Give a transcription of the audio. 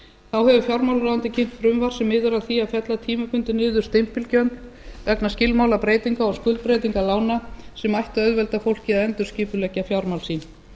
þá hefur fjármálaráðuneytið kynnt frumvarp sem miðar að því að fella tímabundið niður stimpilgjöld vegna skilmálabreytinga og skuldbreytinga lána sem ættu að auðvelda fólki að endurskipuleggja fjármál sín